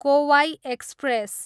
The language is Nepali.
कोवाई एक्सप्रेस